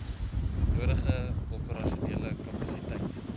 nodige operasionele kapasiteit